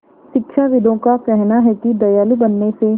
शिक्षाविदों का कहना है कि दयालु बनने से